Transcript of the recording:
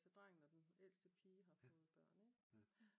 Altså drengen og den ældste pige har fået børn ik